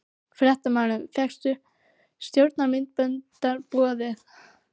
Fréttamaður: Fékkstu stjórnarmyndunarumboð?